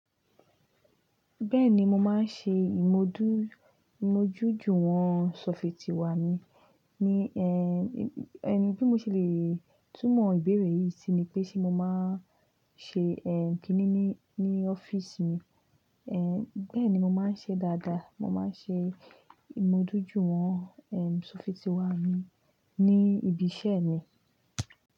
Bẹ́ẹ̀ni mo máa ń ṣe ìmójúju wọ́n ṣọ́fìtì wá mi. Ni ẹ́, ẹ́n bí mo ṣe le túnmọ̀ ìbéèrè yìí sí ni pé ṣe mo máa ń ṣe ẹ́ kìíní ní ọ́fíìsì mi? Ẹ̀ bẹ́ẹ̀ni mo máa ń ṣe dáadáa. Mo máa ń ṣe ìmójúju wọ́n ẹ́ ṣọ́fìtì wá mi ní ibi iṣẹ́ mi.